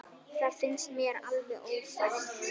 Það finnst mér alveg ófært.